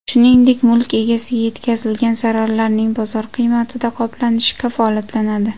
Shuningdek, mulk egasiga yetkazilgan zararlarning bozor qiymatida qoplanishi kafolatlanadi”.